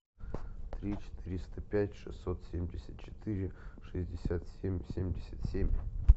три четыреста пять шестьсот семьдесят четыре шестьдесят семь семьдесят семь